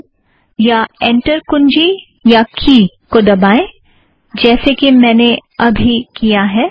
return या enter कुंजी अथ्वा की को दबाएं जैसे कि मैंने अबी किया